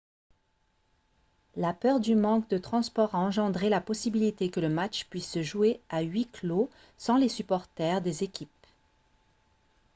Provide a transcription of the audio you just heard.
la peur du manque de transport a engendré la possibilité que le match puisse se jouer à huis clos sans les supporters des équipes